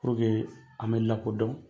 Puruke an bɛ lakodɔn